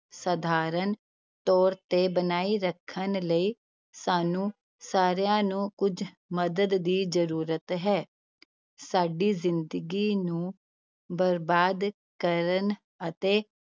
ਸਧਾਰਨ ਤੌਰ ਤੇ ਬਣਾਈ ਰੱਖਣ ਲਈ ਸਾਨੂੰ ਸਾਰਿਆਂ ਨੂੰ ਕੁੱਝ ਮਦਦ ਦੀ ਜ਼ਰੂਰਤ ਹੈ ਸਾਡੀ ਜ਼ਿੰਦਗੀ ਨੂੰ ਬਰਬਾਦ ਕਰਨ ਅਤੇੇ